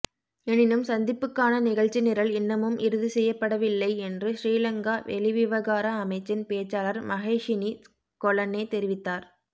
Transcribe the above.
எனினும் சந்திப்புக்கான நிகழ்ச்சி நிரல் இன்னமும் இறுதி செய்யப்படவில்லை என்று சிறிலங்கா வெளிவிவகார அமைச்சின் பேச்சாளர் மஹேஷினி கொலன்னே தெரிவித்தார்